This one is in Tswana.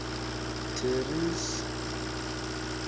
terry's